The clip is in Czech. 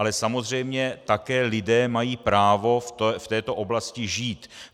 Ale samozřejmě také lidé mají právo v této oblasti žít.